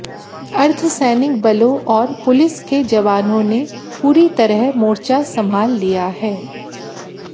अर्द्धसैनिक बलों और पुलिस के जवानों ने पूरी तरह मोर्चा संभाल लिया है